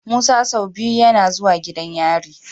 Musa sau biyu YAna zuwa gidan yari